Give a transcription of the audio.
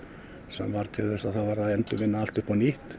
sem varð til þess að það varð að endurvinna allt upp á nýtt